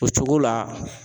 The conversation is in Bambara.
O cogo la